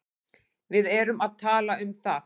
Við erum að tala um það!